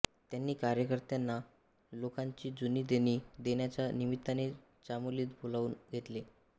त्यांनी कार्यकर्त्यांना लोकांची जुनी देणी देण्याच्या निमित्ताने चामोलीत बोलावून घेतले